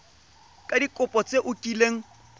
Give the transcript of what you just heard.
ka dikopo tse o kileng